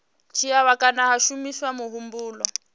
dzhiiwa kana ha shumiswa muhumbulo